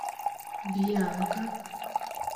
бьянка